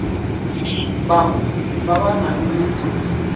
bangwe ba ba nang le